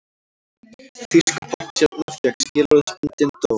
Þýsk poppstjarna fékk skilorðsbundinn dóm